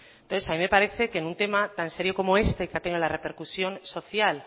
entonces a mí me parece que en un tema tan serio como este que ha tenido la repercusión social